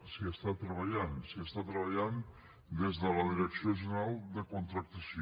s’hi està treballant s’hi està treballant des de la direcció general de contractació